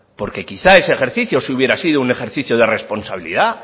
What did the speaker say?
porque quizá ese ejercicio sí hubiera sido un ejercicio de responsabilidad